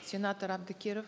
сенатор әбдікеров